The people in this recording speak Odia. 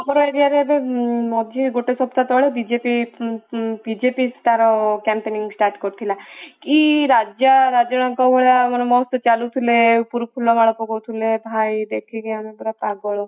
ଆମର area ରେ ଏବେ ମଝିରେ ଗୋଟେ ସପ୍ତାହ ତଳେ ବିଜେପି ବିଜେପି ତାର campaigning start କରିଥିଲା କି ରାଜା ରାଜାଙ୍କ ଭଳିଆ ଚାଲୁଥିଲେ ଉପରୁ ଫୁଲମାଳ ପକଉଥିଲେ ଭାଇ ଦେଖିକି ଆମେ ପୁରା ପାଗଳ